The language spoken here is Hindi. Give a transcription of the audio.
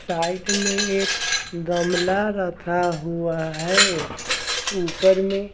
साइड में एक गमला रखा हुआ है ऊपर में --